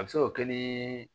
A bɛ se ka o kɛ ni